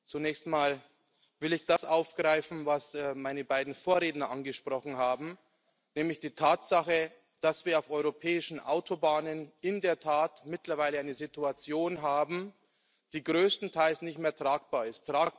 Zunächst mal will ich das aufgreifen, was meine beiden Vorredner angesprochen haben, nämlich die Tatsache, dass wir auf europäischen Autobahnen in der Tat mittlerweile eine Situation haben, die größtenteils nicht mehr tragbar ist.